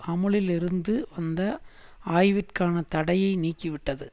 அமுலில் இருந்து வந்த ஆய்விற்கான தடையை நீக்கி விட்டது